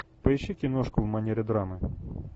поищи киношку в манере драмы